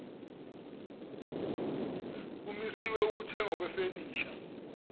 kumiswe ukuthengwa kwefenisha